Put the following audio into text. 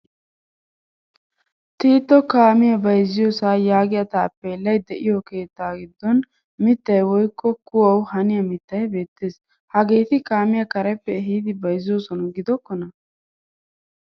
Tiito kaamiyaa bayzziyosaa yaagiyaa taappelay deiyo keetta giddon mittay woykko kuwawu haniyaa mittay beetees. Hageeti kaamiyaa kareppe ehidi bayzzosona gidokona?